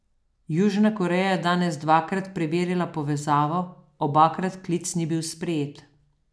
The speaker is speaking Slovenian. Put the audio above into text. Južna Koreja je danes dvakrat preverila povezavo, obakrat klic ni bil sprejet.